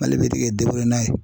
Mali bɛ ti k'e n'a ye.